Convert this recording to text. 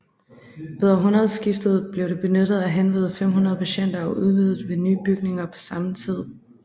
Ved århundredeskiftet blev det benyttet af henved 500 patienter og udvidet ved nye bygninger på samme tid